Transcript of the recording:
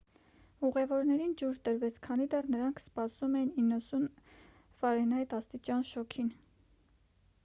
ուղևորներին ջուր տրվեց քանի դեռ նրանք սպասում էին 90ֆ աստիճան շոգին։